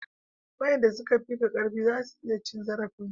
wayanda su ka fi ka karfi za su iya cin zarafin ka